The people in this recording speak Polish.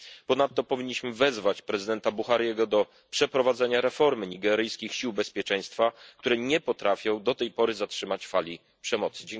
Ponadto powinniśmy wezwać prezydenta Buhariego do przeprowadzenia reformy nigeryjskich sił bezpieczeństwa, które nie potrafią do tej pory zatrzymać fali przemocy.